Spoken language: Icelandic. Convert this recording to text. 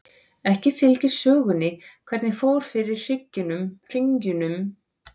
Ekki fylgir sögunni hvernig fór fyrir hringjunum en hermaðurinn greiddi Arkímedesi banahögg.